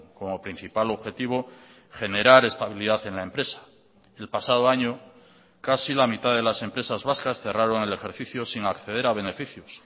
como principal objetivo generar estabilidad en la empresa el pasado año casi la mitad de las empresas vascas cerraron el ejercicio sin acceder a beneficios